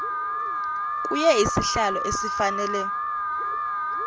kuye isohlwayo esifanele